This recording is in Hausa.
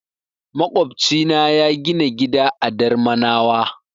Maƙwofcina ya gina gida a Darmanawa.